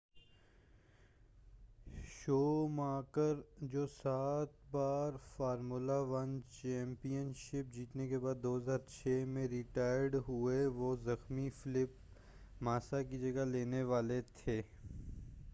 Schumacher جو سات بار فارمولہ 1 چیمپین شپ جیتنے کے بعد 2006 میں ریٹائرڈ ہوئے وہ زخمی فیلپ ماسا کی جگہ لینے والے تھے